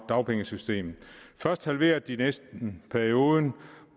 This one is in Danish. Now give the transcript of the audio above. dagpengesystem først halverede de næsten perioden